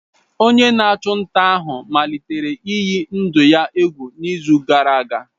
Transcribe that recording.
Onye na-achụ nta ahụ malitere iyi ndụ ya egwu n'izu gara aga.